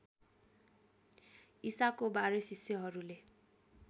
ईसाको १२ शिष्यहरूले